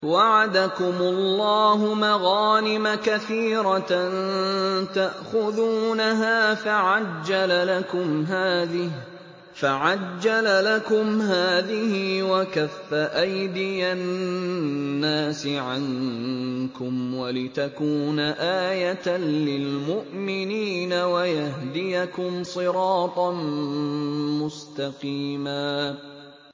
وَعَدَكُمُ اللَّهُ مَغَانِمَ كَثِيرَةً تَأْخُذُونَهَا فَعَجَّلَ لَكُمْ هَٰذِهِ وَكَفَّ أَيْدِيَ النَّاسِ عَنكُمْ وَلِتَكُونَ آيَةً لِّلْمُؤْمِنِينَ وَيَهْدِيَكُمْ صِرَاطًا مُّسْتَقِيمًا